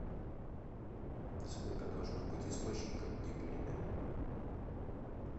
сколько должно быть источников в дипломе